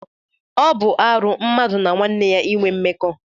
Ọ bụ arụ mmadụ na nwanne ya inwe mmekọ.